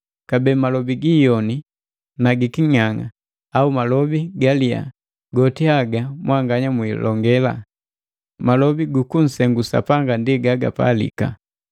Kabee malobi gi iyoni na giking'ang'a au malobi galiya goti haga mwanganya mwilonge, malobi gu kunsengu Sapanga ndi gagapalika.